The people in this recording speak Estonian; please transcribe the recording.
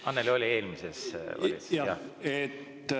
Annely oli eelmises valitsuses, jah, rahandusminister.